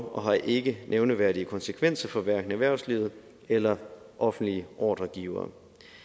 og har ikke nævneværdige konsekvenser for hverken erhvervslivet eller offentlige ordregivere